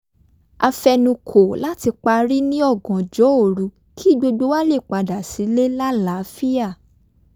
a fe̩nukò láti parí ní ọ̀gànjọ́ òru kí gbogbo wa lè padà sílé lálàáfíà